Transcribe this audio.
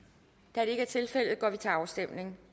da det ikke er tilfældet går vi til afstemning